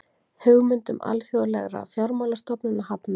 Hugmyndum alþjóðlegra fjármálastofnana hafnað